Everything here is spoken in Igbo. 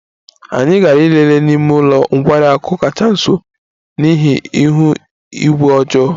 Anyị aghaghị ịlele n'ime ụlọ nkwari akụ kacha nso n'ihi ihu igwe ọjọọ